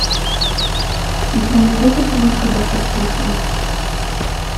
у тебя найдется киношка доктор плюшева